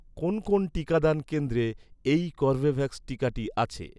কোন কোন টিকাদান কেন্দ্রে, এই কর্বেভ্যাক্স টিকাটি আছে?